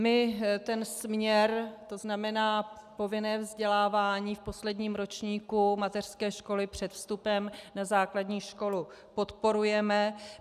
My ten směr, to znamená povinné vzdělávání v posledním ročníku mateřské školy před vstupem na základní školu, podporujeme.